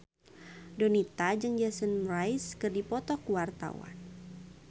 Donita jeung Jason Mraz keur dipoto ku wartawan